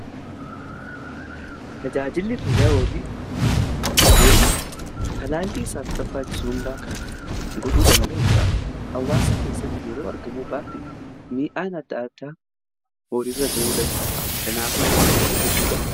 Tajaajilli fayyaa horii tajaajila isaaf barbaachisuu kan godhuu danda'uudha. Hawaasa keessatti yeroo argamu baate miidhaan adda adaa horiirra ga'uu danda'a. Kanaafuu bu'aan isaa hedduudha.